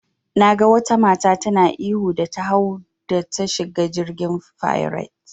Naga wata mata tana ihu da ta hau da ta shiga jirgin fairet.